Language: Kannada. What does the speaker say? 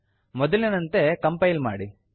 ಮೊದಲಿನಂತೆ ಕಂಪೈಲ್ ಮಾಡಿ